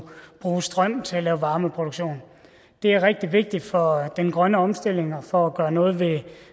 bruge strøm til varmeproduktion det er rigtig vigtigt for den grønne omstilling og for at gøre noget ved